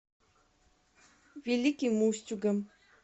великим устюгом